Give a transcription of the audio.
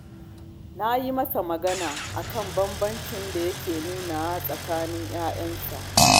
Na yi masa magana a kan banbancin da yake nunawa a tsakanin 'ya'yansa